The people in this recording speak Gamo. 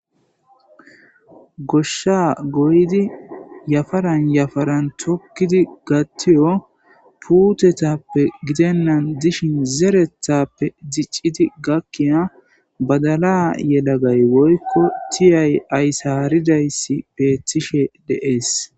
Goshsha goyidi yafaran yafaran tukidi gatiyo puuththetappe giddennan dishin zeretappe dichiddi gakkiya badalla yeeda bay woyko tiiyay ayssaridayssi betishe de'es.